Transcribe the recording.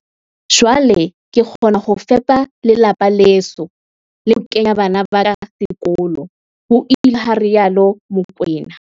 "Jwale ke kgona ho fepa lelapa leso le ho kenya bana ba ka sekolo," ho ile ha rialo Mokoena."